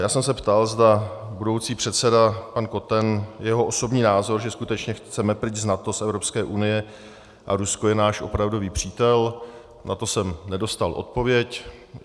Já jsem se ptal, zda budoucí předseda pan Koten, jeho osobní názor, zda skutečně chceme pryč z NATO, z Evropské unie a Rusko je náš opravdový přítel, na to jsem nedostal odpověď.